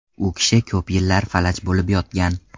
U kishi ko‘p yillar falaj bo‘lib yotgan.